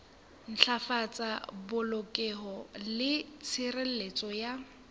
ntlafatsa polokeho le tshireletso ya